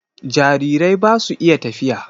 Jarirai ba su iya tafiya.